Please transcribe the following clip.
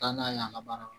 Taa n'a ye a ka baara